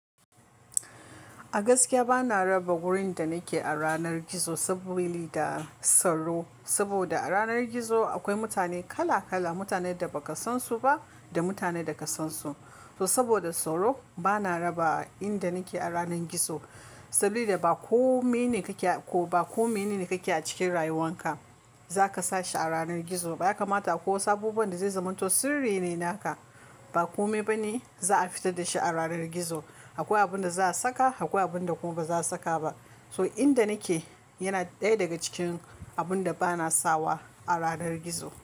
A gaskiya bana raba wurin da nake a ranar gizo saboli da sauro. Saboda a ranar gizo akwai mutane kala kala, mutanen da baka sansu ba da mutanen da ka sansu. To saboda sauro bana raba inda nake a ranar gizo. Saboda ba kome ne kake ko ba kome ne kake a cikin rayuwan ka zaka sa shi a ranar gizo. Ba ya kamata ako abubuwan da zai zamanto sirri ne naka ba kome bane za a fita da shi a ranar gizo. Akwai abin da za a saka akwai abin da kuma baza a saka ba. So inda nake yana ɗaya daga cikin abin da bana sawa a ranar gizo.